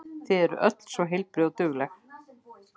Þau eru öll svo heilbrigð og dugleg.